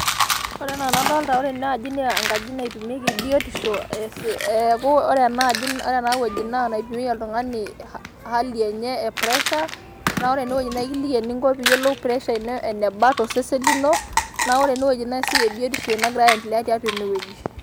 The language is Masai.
Ore enaa ena doolta naa ore ena aji naa engaji naipimieki biotisho, neeku ore ena aji ore ena wueji naa enapikieki oltung'ani ehali enye e pressure naa ore ene wueji eikiliki ening'o pressure ino eneba to sesen lino naa ore ene wueji naa isioki biotisho ino egira aendelea tiatu ene wueji.